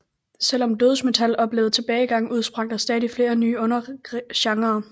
Selvom dødsmetal oplevede tilbagegang udsprang der stadig flere nye undergenrer